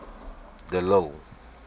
de lille